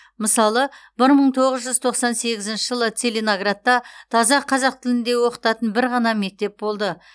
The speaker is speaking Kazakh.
мысалы бір мың тоғыз жүз тоқсан сегізінші жылы целиноградта таза қазақ тілінде оқытатын бір ғана мектеп болды